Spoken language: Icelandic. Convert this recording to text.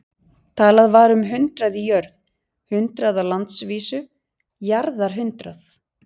Talað var um hundrað í jörð, hundrað á landsvísu, jarðarhundrað.